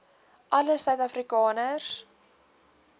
alle suid afrikaners